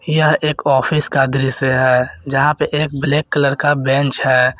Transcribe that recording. यह एक ऑफिस का दृश्य है यहां पे एक ब्लैक कलर का बेंच है।